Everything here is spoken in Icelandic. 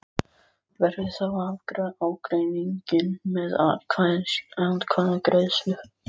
Verður þá að afgreiða ágreininginn með atkvæðagreiðslu.